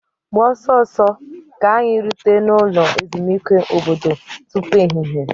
Gbaa ọsọ ọsọ ka anyị rute n'ụlọ ezumezu obodo tupu ehihie!.